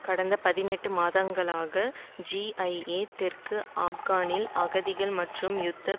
கடந்த பதினெட்டு மாதங்களாக சிஐஏ தெற்கு ஆப்கானில் அகதிகள் மற்றும் யுத்த